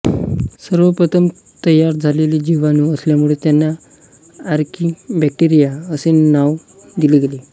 सर्वप्रथम तयार झालेले जीवाणू असल्यामुळे त्यांना आर्किबॅक्टेरिया असे नाव दिले गेले